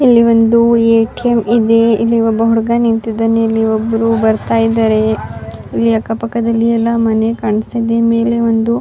ಇಲ್ಲಿ ಒಂದು ಎ.ಟಿ.ಎಂ ಇದೆ ಇಲ್ಲಿ ಒಬ ಹುಡುಗ ನಿಂತಿದ್ದಾನೆ ಇಲ್ಲಿ ಒಬ್ಬರು ಬರ್ತಾ ಇದ್ದಾರೆ ಅಕ್ಕ ಪಕ್ಕ ದಲ್ಲಿ ಮನೆ ಕಾಣಿಸ್ತಿದೆ ಮೇಲೆ ಒಂದು --